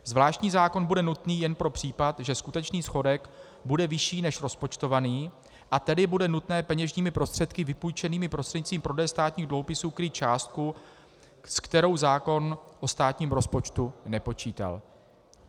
Zvláštní zákon bude nutný jen pro případ, že skutečný schodek bude vyšší než rozpočtovaný, a tedy bude nutné peněžními prostředky vypůjčenými prostřednictvím prodeje státních dluhopisů krýt částku, s kterou zákon o státním rozpočtu nepočítal.